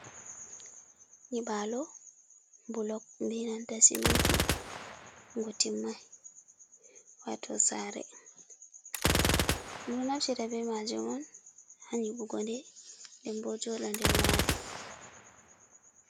Nyiɓalo bulok, be nanta siminti ngu timmay wato sare. Ɗum do naftira be majum on ha nyiɓugo nde nden bo joɗa nder mare.